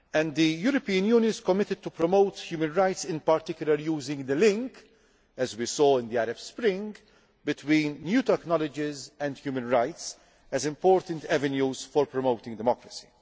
The European Union is committed to promote human rights, in particular using the link as we saw in the Arab Spring between new technologies and human rights as important avenues for promoting democracy.